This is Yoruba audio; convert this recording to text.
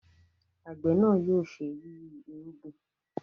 àgbẹ̀ náà yóò ṣe yiyi irúgbìn